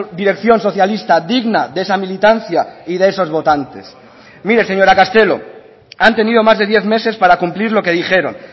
dirección socialista digna de esa militancia y de esos votantes mire señora castelo han tenido más de diez meses para cumplir lo que dijeron